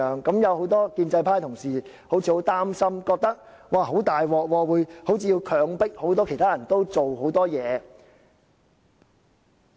很多建制派的同事好像很擔心，覺得很糟糕，好像是要強迫其他人做很多事情。